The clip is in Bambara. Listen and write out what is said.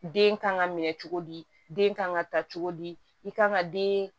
Den kan ka minɛ cogo di den kan ka ta cogo di i kan ka den